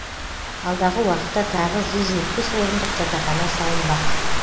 алдағы уақытта тағы жүз жетпіс орындық жатақхана салынбақ